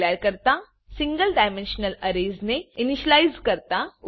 single dimensional Arraysસિંગલ dimensional array ને initialize કરતા